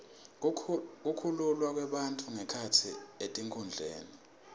kukhululwa kwebafundzi ngekhatsi etikudlweni